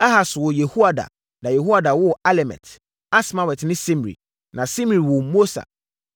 Ahas woo Yehoada na Yehoada woo Alemet, Asmawet ne Simri. Na Simri woo Mosa.